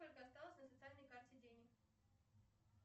сколько осталось на социальной карте денег